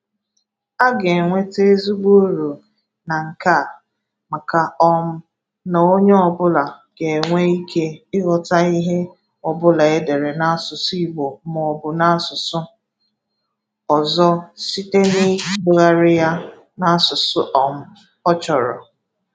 A ga-enweta ezigbo uru na nke a maka um na onye ọbụla ga-enwe ike ịghọta ihe ọbụla e dere n'asụsụ Igbo maọbụ n'asụsụ ọzọ site n'ịtụgharị ya n'asụsụ um ọ chọrọ.